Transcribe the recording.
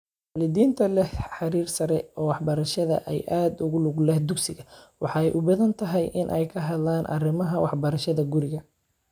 Waalidiinta leh heerar sare oo waxbarasho ayaa aad ugu lug leh dugsiga, waxay u badan tahay inay ka hadlaan arrimaha waxbarashada guriga.